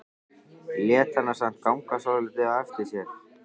Lét hana samt ganga svolítið á eftir sér.